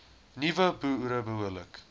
nuwe boere behoorlik